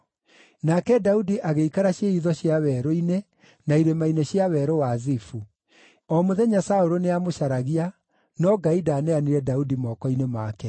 Nake Daudi agĩikara ciĩhitho cia werũ-inĩ na irĩma-inĩ cia Werũ wa Zifu. O mũthenya Saũlũ nĩamũcaragia, no Ngai ndaaneanire Daudi moko-inĩ make.